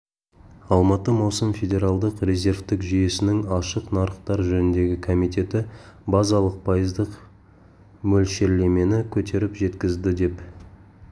алматы маусым федеральдық резервтік жүйесінің ашық нарықтар жөніндегі комитеті базалық пайыздық мөлшерлемені көтеріп жеткізді деп